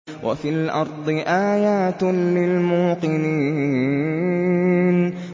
وَفِي الْأَرْضِ آيَاتٌ لِّلْمُوقِنِينَ